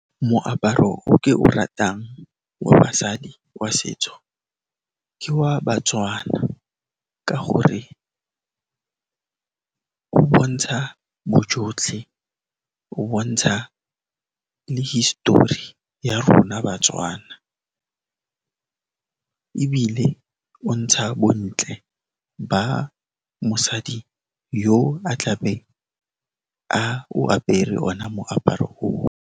Moaparo o ke o ratang wa basadi wa setso ka wa batswana ka gore o bontsha bojotlhe, o bontsha histori ya rona batswana ebile o ntsha bontle ba mosadi yo a tlabe a o apere ona moaparo o.